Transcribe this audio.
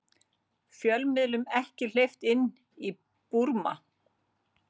Fjölmiðlum ekki hleypt inn í Búrma